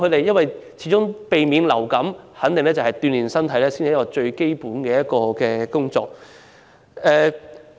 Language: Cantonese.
要有效避免染上流感，鍛練身體才是最基本的方法。